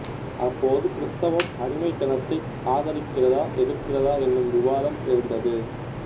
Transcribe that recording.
அப்போது கிறிஸ்தவம் அடிமைத்தனத்தை ஆதரிக்கிறதா எதிர்க்கிறதா என்னும் விவாதம் எழுந்தது